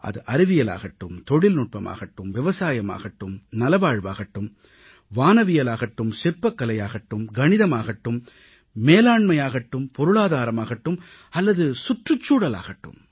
அது அறிவியலாகட்டும் தொழில்நுட்பமாகட்டும் விவசாயமாகட்டும் நலவாழ்வாகட்டும் வானவியலாகட்டும் சிற்பக்கலையாகட்டும் கணிதமாகட்டும் மேலாண்மையாகட்டும் பொருளாதாரமாகட்டும் அல்லது சுற்றுச்சூழலாகட்டும்